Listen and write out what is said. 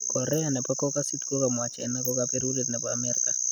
Korea nepo kokasit kokamwa china ko kaperuret nepo amerika